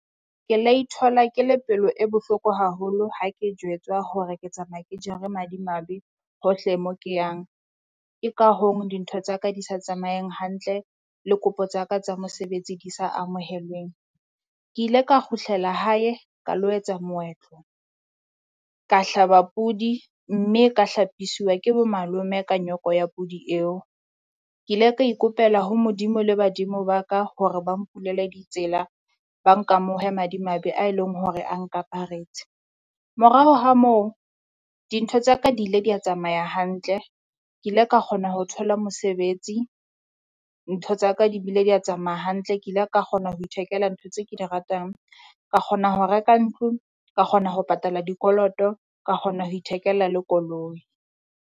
Ke la ithola ke le pelo e bohloko haholo ha ke jwetswa hore ke tsamaya ke jere madimabe hohle mo ke yang. Ke ka hong dintho tsa ka di sa tsamaeng hantle, le kopo tsaka tsa mosebetsi di sa amohelweng. Ke ile ka kgutlela hae ka lo etsa moetlo ka hlaba podi, mme ka hlapiswa ke bo malome ka nyoko ya podi eo. Ke ile ka ikopela ho Modimo le badimo ba ka hore ba mpulele ditsela, ba nkamohe madimabe a eleng hore a nkaparetse. Morao ha moo dintho tsa ka di ile dia tsamaya hantle, Ke ile ka kgona ho thola mosebetsi. Ntho tsa ka di bile dia tsamaea hantle ke ile ka kgona ho ithekela ntho tse ke di ratang. Ka kgona ho reka ntlo, ka kgona ho patala dikoloto, ka kgona ho ithekela le koloi.